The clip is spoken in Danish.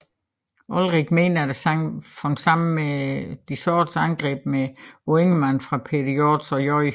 Olrik mente at sangen faldt sammen med sårende angreb på Ingemann fra Peder Hjorts og J